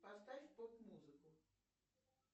поставь поп музыку